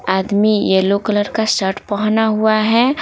आदमी yellow colour का shirt पहना हुआ है।